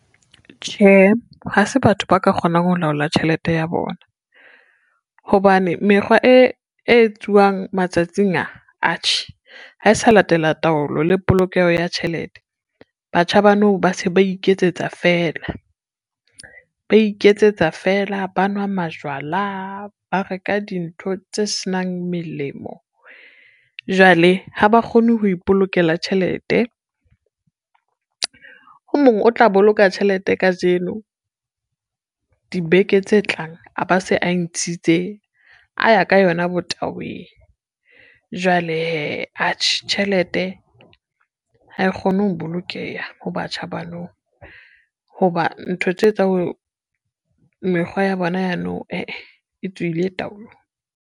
Tjhe, ha se batho ba ka kgonang ho laola tjhelete ya bona, hobane mekgwa e etsuwang matsatsing a, atjhe ha e sa latela taolo le polokeho ya tjhelete. Batjha ba nou ba se ba iketsetsa fela, ba iketsetsa fela, ba nwa majwala, ba reka dintho tse senang melemo. Jwale ha ba kgone ho ipolokela tjhelete, o mong o tla boloka tjhelete kajeno, dibeke tse tlang a ba se a e ntshitse a ya ka yona bo taweng. Jwale hee, atjhe tjhelete ha e kgone ho bolokeha ho batjha ba nou ho ba ntho tse etsang mekgwa ya bona ya nou eh eh e tswile taolong.